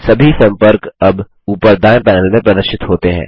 सभी सम्पर्क अब ऊपर दायें पैनल में प्रदर्शित होते हैं